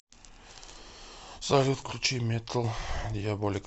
салют включи метал диаболика